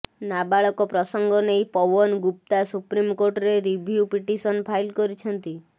ନାବାଳକ ପ୍ରସଙ୍ଗ ନେଇ ପୱନ ଗୁପ୍ତା ସୁପ୍ରିମକୋର୍ଟରେ ରିଭ୍ୟୁ ପିଟିସନ ଫାଇଲ କରିଛନ୍ତି